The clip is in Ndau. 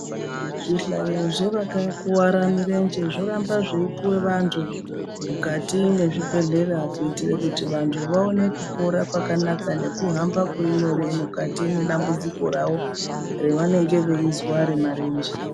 Zvihlanyu zvevakakuwara mirenje zvoramba zveipuwa vantu mukati mwezvibhedhleya kuitira kuti vantu vaone kupora kwakanaka nekuhamba kuri nyore mukati mwedambudziki ravo revanenge veizwa remarenje.